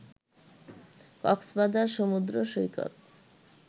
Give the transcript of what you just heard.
কক্সবাজার সমুদ্র সৈকত